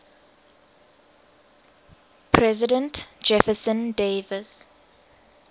president jefferson davis